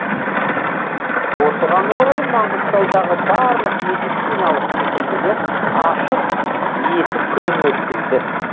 осыған орай маңғыстаудағы барлық медициналық мекемелер ашық есік күнін өткізеді